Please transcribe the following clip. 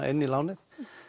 inn í lánið